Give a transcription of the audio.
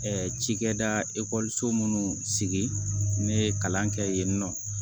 Ɛɛ cikɛda minnu sigi ne ye kalan kɛ yen nɔ